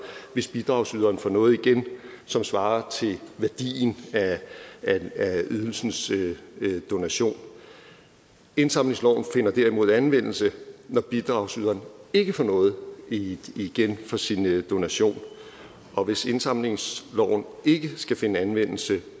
hvis bidragsyderen får noget igen som svarer til værdien af ydelsens donation indsamlingsloven finder derimod anvendelse når bidragsyderen ikke får noget igen for sin donation og hvis indsamlingsloven ikke skulle finde anvendelse